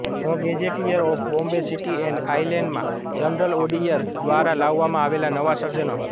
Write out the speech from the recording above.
the gazetteer of Bombay city and આઈલૅન્ડમાં general ઑઙીયર દ્વારા લાવવામાં આવેલા નવા સર્જનો